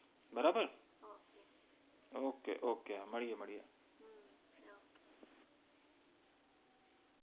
બરાબર okay okay મ્ડ઼ઈએ